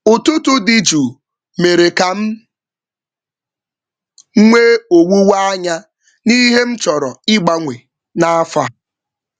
Ụtụtụ dị jụụ mèrè kam nwee owuwe anya n'ihe m chọrọ igbanwe na afọ a